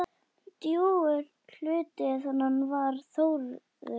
Drjúgur hluti hennar var Þórður.